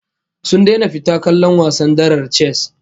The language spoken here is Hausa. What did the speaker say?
Sun daina fita kallon wasan darar chess